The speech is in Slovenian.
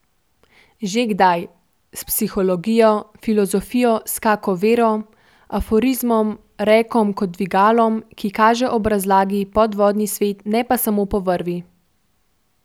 Že kdaj, s psihologijo, filozofijo, s kako vero, aforizmom, rekom kot dvigalom, ki kaže ob razlagi podvodni svet, ne pa sam po vrvi.